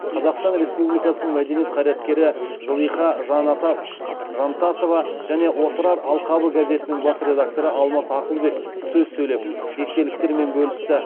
қазақстан республикасының мәдениет қайраткері зылиха жантасова және отырар алқабы газетінің бас редакторы алмас ақылбек сөз сөйлеп естеліктермен бөлісті